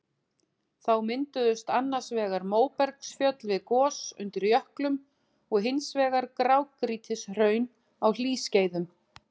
Þá mynduðust annars vegar móbergsfjöll við gos undir jöklum og hins vegar grágrýtishraun á hlýskeiðum.